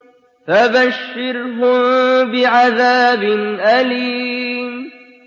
فَبَشِّرْهُم بِعَذَابٍ أَلِيمٍ